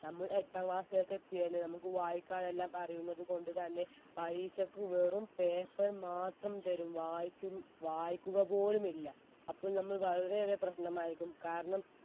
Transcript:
നമ്മൾ എട്ടാം class ലേക്ക് എത്തിയാൽ നമുക്ക് വായിക്കാനെല്ലാം അറിയുന്നതുകൊണ്ട് തന്നെ പരീക്ഷക്ക് വെറും paper മാത്രം തരും വായിച്ചും വായിക്കുക പോലും ഇല്ല അപ്പോൾ നമ്മൾ വളരെ ഏറെ പ്രശ്നമായിരിക്കും കാരണം